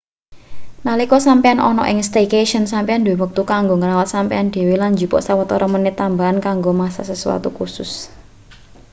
nalika sampeyan ana ing staycation sampeyan duwe wektu kanggo ngrawat sampeyan dhewe lan njupuk sawetara menit tambahan kanggo masak sesuatu khusus